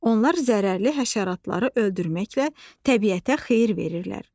Onlar zərərli həşəratları öldürməklə təbiətə xeyir verirlər.